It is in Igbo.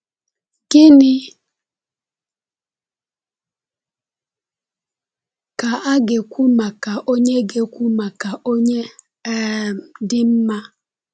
Gịnị ka a ga-ekwu maka onye ga-ekwu maka onye um dị mma?